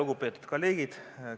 Lugupeetud kolleegid!